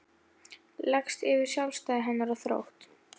Leggst yfir sjálfstæði hennar og þrótt.